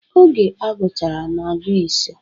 Oge a gụchara anọ, agụọ ise.